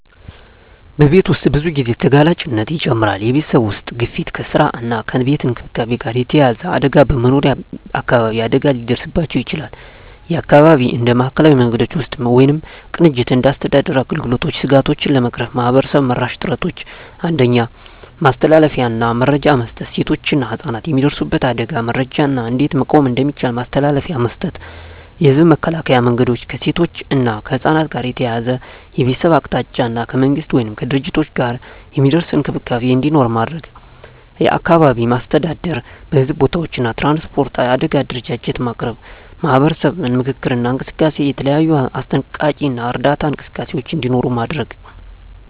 በቤት ውስጥ ብዙ ጊዜ ተጋላጭነት ይጨምራል የቤተሰብ ውስጥ ግፊት ከስራ እና ከቤት እንክብካቤ ጋር የተያያዘ አደጋ በመኖሪያ አካባቢ አደጋ ሊደርስባቸው ይችላል (የአካባቢ እንደ ማዕከላዊ መንገዶች ውስጥ ወይም ቅንጅት እንደ አስተዳደር አገልግሎቶች ስጋቶቹን ለመቅረፍ ማህበረሰብ-መራሽ ጥረቶች 1. ማስተላለፊያ እና መረጃ መስጠት ሴቶችና ህፃናት የሚደርሱበት አደጋን መረጃ እና እንዴት መቆም እንደሚቻል ማስተላለፊያ መስጠት። የህዝብ መከላከያ መንገዶች ከሴቶች እና ከህፃናት ጋር ተያያዘ የቤተሰብ አቅጣጫ እና ከመንግሥት ወይም ከድርጅቶች ጋር የሚደርስ እንክብካቤ እንዲኖር ማድረግ። አካባቢ አስተዳደር በሕዝብ ቦታዎች እና ትራንስፖርት የአደጋ አደረጃጀት ማቅረብ። ማህበረሰብ ምክክር እና እንቅስቃሴ የተለያዩ አስጠንቀቂ እና እርዳታ እንቅስቃሴዎች እንዲኖሩ ማድረግ።